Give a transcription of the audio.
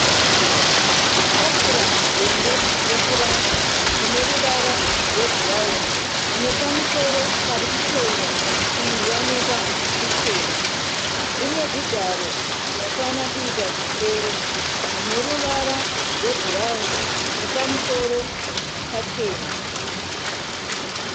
Tafura hombe yepuranga ine ruvara rwebhurawuni ine pamusoro pari kupenya kuioneka kuchena. Ine zvigaro zvinokwana kuita zvisere zvine ruvara rwebhurawuni nepamusoro pachena.